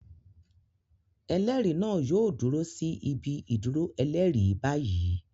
Ẹlẹ́rìí náà yóò dúró sí ibi-ìdúrọ ẹlẹ́rìí báyìí.